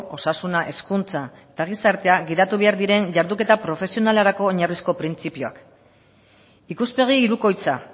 osasuna hezkuntza eta gizartea gidatu behar diren jarduketa profesionalerako oinarrizko printzipioak ikuspegi hirukoitza